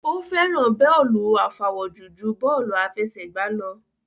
Ó fẹ́ràn bọ́lù àfawọ́jù ju bọ́lù àfẹsẹ̀gbá lọ